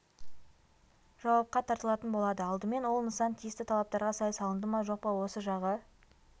жауапқа тартылатын болады алдымен ол нысан тиісті талаптарға сай салынды ма жоқ па осы жағы